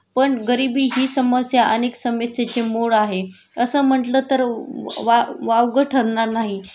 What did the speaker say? पण गरिबी हि समस्या अनेक समस्यांचे मूळ आहे तसं म्हटलं तर वाव वावगं ठरणार नाही